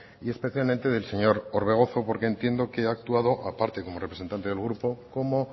y especialmente del señor orbegozo porque entiendo que ha actuado aparte de como representante del grupo como